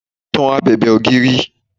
Tan abèbè ògiri!